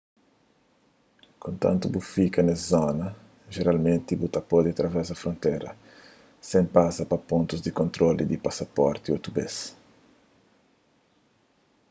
kontantu bu fika nes zona jeralmenti bu pode travesa frontera sen pasa pa pontus di kontrolu di pasaporti otu bês